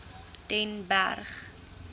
den berg